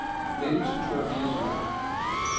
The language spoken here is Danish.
nitten tusind og fireogtyve